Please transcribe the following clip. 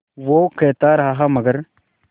वो कहता रहा मगर